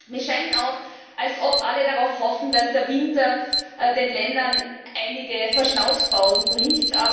Mir scheint auch, als ob alle darauf hoffen, dass der Winter den Ländern einige Verschnaufpausen bringt.